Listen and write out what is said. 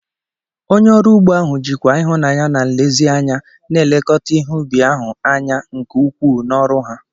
Onye ọrụ ugbo ahụ jikwa ịhụnanya na nlezianya na-elekọta ihe ubi ahụ anya nke ukwuu n'ọrụ ha.